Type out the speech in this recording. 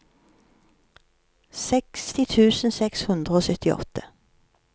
seksti tusen seks hundre og syttiåtte